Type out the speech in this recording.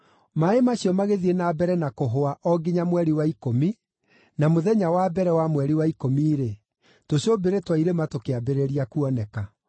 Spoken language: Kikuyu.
Maaĩ macio magĩthiĩ na mbere na kũhũa o nginya mweri wa ikũmi, na mũthenya wa mbere wa mweri wa ikũmi-rĩ, tũcũmbĩrĩ twa irĩma tũkĩambĩrĩria kuoneka.